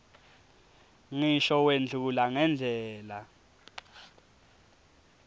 ngisho wendlula ngendlela